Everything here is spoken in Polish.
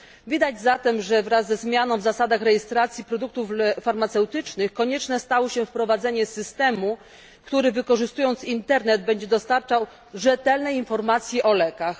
Widać zatem, że wraz ze zmianą zasad rejestracji produktów farmaceutycznych konieczne stało się wprowadzenie systemu, który wykorzystując internet będzie dostarczał rzetelnych informacji o lekach.